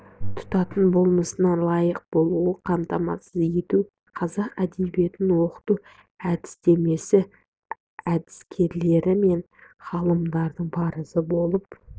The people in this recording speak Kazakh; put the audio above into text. тұтатын болмысына лайық болуын қамтамасыз ету қазақ әдебиетін оқыту әдістемесі әдіскерлері мен ғалымдардың парызы болып